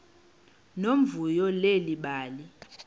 nomvuyo leli bali